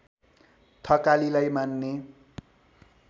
थकालीलाई मान्ने